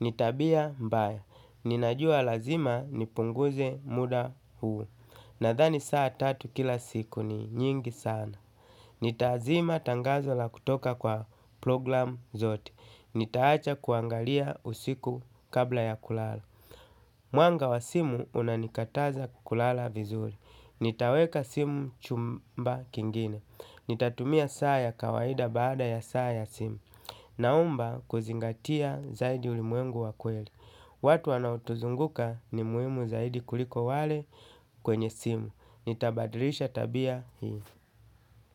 Ni tabia mbaya. Ninajua lazima nipunguze muda huu. Nadhani saa tatu kila siku ni nyingi sana. Nitazima tangazo la kutoka kwa program zote. Nitaacha kuangalia usiku kabla ya kulala. Mwanga wa simu unanikataza kulala vizuri. Nitaweka simu chumba kingine. Nitatumia saa ya kawaida baada ya saa ya simu. Naomba kuzingatia zaidi ulimwengu wa kweli. Watu wanaotuzunguka ni muhimu zaidi kuliko wale kwenye simu. Nitabadilisha tabia hii.